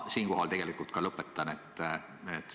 Siinkohal ma tegelikult ka lõpetan.